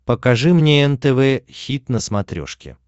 покажи мне нтв хит на смотрешке